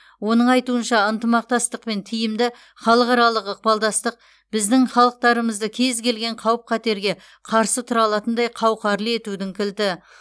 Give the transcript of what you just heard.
оның айтуынша ынтымақтастық пен тиімді халықаралық ықпалдастық біздің халықтарымызды кез келген қауіп қатерге қарсы тұра алатындай қауқарлы етудің кілті